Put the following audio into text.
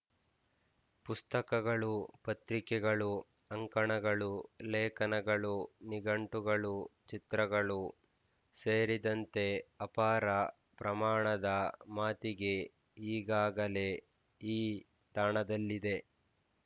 ಪುಸ್ತಕಗಳು ಪತ್ರಿಕೆಗಳು ಅಂಕಣಗಳು ಲೇಖನಗಳು ನಿಘಂಟುಗಳು ಚಿತ್ರಗಳು ಸೇರಿದಂತೆ ಅಪಾರ ಪ್ರಮಾಣದ ಮಾತಿಗೆ ಈಗಾಗಲೇ ಈ ತಾಣದಲ್ಲಿದೆ